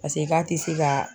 Paseke k'a tɛ se ka